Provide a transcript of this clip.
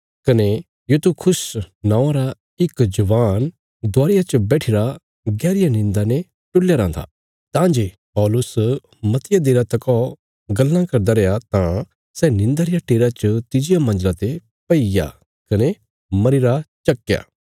कने यूतुखुस नौआं रा इक जवान दुआरिया च बैठिरा गैहरिया निंदा ने टुल्लया राँ था तां जे पौलुस मतिया देरा तका गल्लां करदा रैया तां सै निंदा रिया टेरा च तिज्जिया मंजला ते पैईग्या कने मरीरा चक्कया